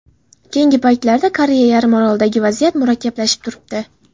Keyingi paytlarda Koreya yarimorolida vaziyat murakkablashib turibdi.